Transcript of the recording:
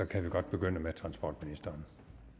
kan vi godt begynde med transportministeren